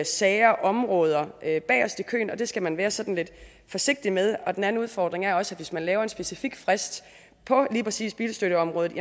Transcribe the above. sager områder bagest i køen og det skal man være sådan lidt forsigtig med den anden udfordring er også at hvis man laver en specifik frist på lige præcis bilstøtteområdet